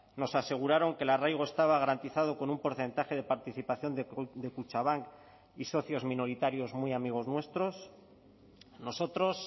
nos aseguraron que el arraigo estaba garantizado con un porcentaje de participación de kutxabank y socios minoritarios muy amigos nuestros nosotros